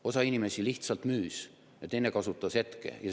Osa inimesi lihtsalt müüs, mõni teine kasutas hetke ära.